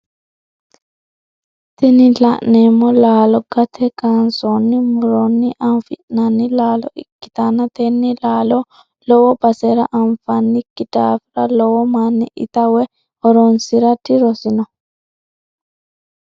Tini la'neemo laalo gate kansooni muronni afi'nanni laalo ikkitanna tenne laalo lowo basera anfanniki daafira lowo manni ita woy horonsira dirosino.